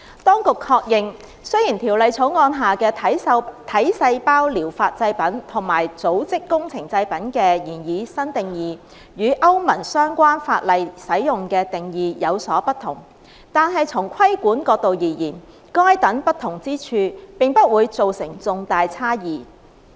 當局確認，雖然《條例草案》下的"體細胞療法製品"和"組織工程製品"的擬議新定義，與歐盟相關法例使用的定義有所不同，但從規管角度而言，該等不同之處並不會造成重大差異。